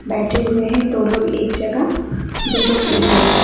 बैठे हुए हैं दो लोग एक जगह दो लोग एक जगह।